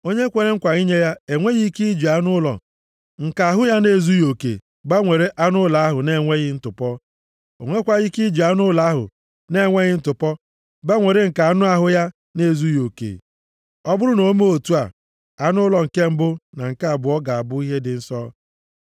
Onye kwere nkwa inye ya enweghị ike iji anụ ụlọ nke ahụ ya na-ezughị oke gbanwere anụ ụlọ ahụ na-enweghị ntụpọ. O nwekwaghị ike iji anụ ụlọ ahụ na-enweghị ntụpọ gbanwere nke anụ ahụ ya na-ezughị oke. Ọ bụrụ na o mee otu a, anụ ụlọ nke mbụ, na nke abụọ, ga-abụ ihe dị nsọ.